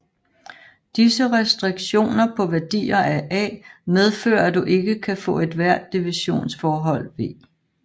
Disse restriktioner på værdier af A medfører at du ikke kan få ethvert divisionsforhold V